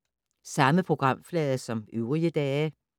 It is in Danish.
Samme programflade som øvrige dage